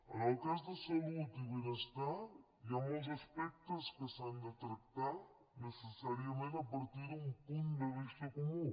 en el cas de salut i benestar hi ha molts aspectes que s’han de tractar necessàriament a partir d’un punt de vista comú